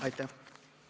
Aitäh!